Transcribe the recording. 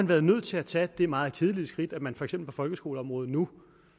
været nødt til at tage det meget kedelige skridt at man for eksempel på folkeskoleområdet nu